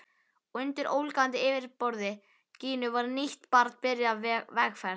Og undir ólgandi yfirborði Gínu var nýtt barn byrjað vegferð.